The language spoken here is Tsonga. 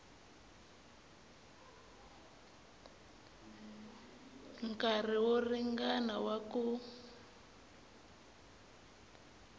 nkarhi wo ringana wa ku